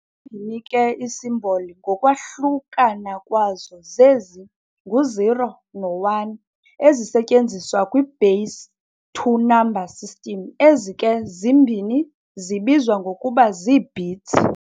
Zimbini ke ii-symbols ngokwahlunana kwazo zezi, ngu-zero no-one, ezisetyenziswa kwi-base two number system. Ezi ke zimbini zibizwa ngokuba zii-bits.